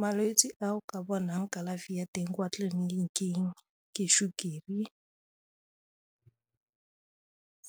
Malwetse a o ka bonang kalafi ya teng kwa tleliniking ke sukiri,